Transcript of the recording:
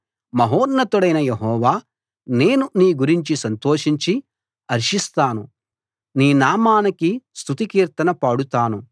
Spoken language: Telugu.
మహోన్నతుడైన యెహోవా నేను నీ గురించి సంతోషించి హర్షిస్తాను నీ నామానికి స్తుతి కీర్తన పాడుతాను